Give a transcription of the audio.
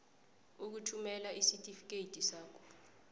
ukuthumela isitifikedi sakho